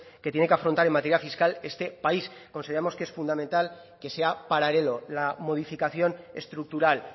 que tiene que afrontar en materia fiscal este país consideramos que es fundamental que sea paralelo la modificación estructural